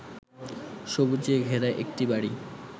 সবুজে ঘেরা একটি বাড়ি